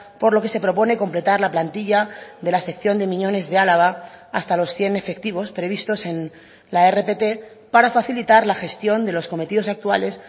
por lo que se propone completar la plantilla de la sección de miñones de álava hasta los cien efectivos previstos en la rpt para facilitar la gestión de los cometidos actuales